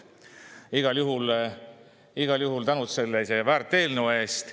Igal juhul tänud sellise väärt eelnõu eest.